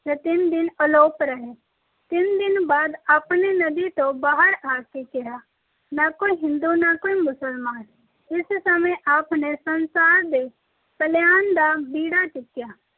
ਤੇ ਤਿੰਨ ਦਿਨ ਅਲੋਪ ਰਹੇ। ਤਿੰਨ ਦਿਨ ਬਾਅਦ ਆਪਨੇ ਨਦੀ ਤੋਂ ਬਾਹਰ ਆ ਕੇ ਕਿਹਾ, “ਨਾ ਕੋਈ ਹਿੰਦੂ ਨਾ ਕੋਈ ਮੁਸਲਮਾਨ। ਇਸ ਸਮੇਂ ਆਪ ਨੇ ਸੰਸਾਰ ਦੇ ਕਲਿਆਣ ਦਾ ਬੀੜਾ ਚੁੱਕਿਆ।